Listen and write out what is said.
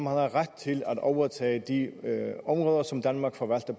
har ret til at overtage de områder som danmark forvalter